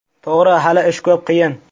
To‘g‘ri, hali ish ko‘p, qiyin.